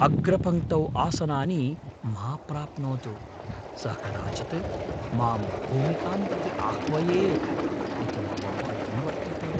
अग्रपङ्क्तौ आसनानि मा प्राप्नोतु। सः कदाचित् मां भूमिकां प्रति आह्वयेत् इति मम भयं वर्तते।